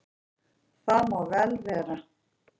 Það má vel vera.